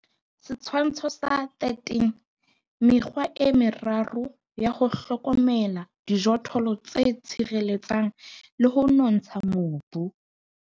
Setshwantsho sa 13. Mekgwa e meraro ya ho hlokomela dijothollo tse tshireletsang le ho nontsha mobu.